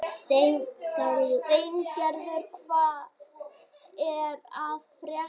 Steingerður, hvað er að frétta?